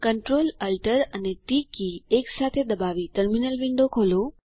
Ctrl Alt અને T key એકસાથે દબાવી ટર્મિનલ વિન્ડો ખોલો